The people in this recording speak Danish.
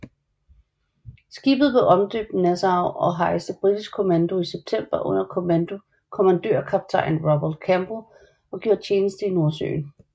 Skibet blev omdøbt Nassau og hejste britisk kommando i september under kommandørkaptajn Robert Campbell og gjorde tjeneste i Nordsøen